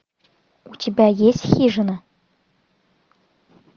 у тебя есть хижина